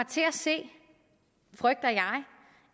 til at se